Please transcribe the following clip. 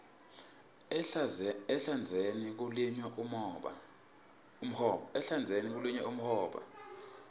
ehlandzeni kulinywa umhoba